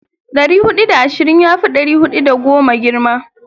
Dari hudu da ashirin yafi dari hudu da goma girma.